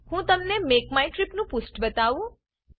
હું તમને make my trip નું પુષ્ઠ બતાવું